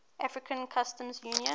african customs union